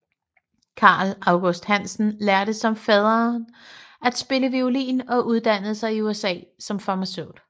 Carl August Hansen lærte som faderen at spille violin og uddannede sig i USA som farmaceut